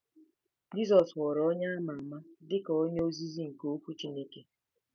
Jizọs ghọrọ onye a ma ama dị ka onye ozizi nke Okwu Chineke.